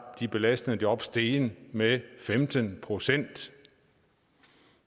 de belastende job steget med femten procent